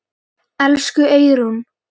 Elsku Eyrún.